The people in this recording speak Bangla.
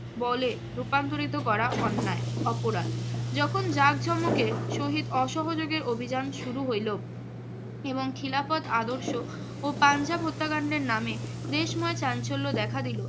বলে রূপান্তরিত করা অন্যায়, অপরাধ। যখন জাঁকজমকের সহিত অসহযোগী অভিযান শুরু হইল এবং খিলাফত আদর্শ ও পাঞ্জাব হত্যাকাণ্ডের নামে দেশময় চাঞ্চল্য দেখা দিল